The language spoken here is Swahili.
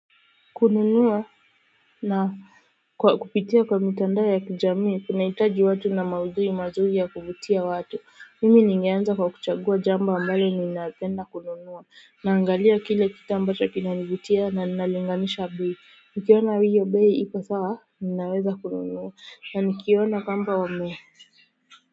Kununua na kwa kupitia kwa mitandao ya kijamii kunahitaji watu na maudhui mazuri ya kuvutia watu. Mimi ningeanza kwa kuchagua jambo ambalo ninaapenda kununua naangalia kile kitu ambacho kinanivutia na nalinganisha bei nikiona hiyo bei ipo sawa ninaweza kununua na nikiona kwamba wame.